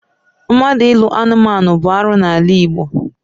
Mmadụ ịlụ anumanu bụ arụ n'ala Igbo.